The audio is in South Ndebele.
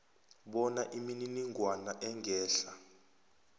bona imininingwana engehla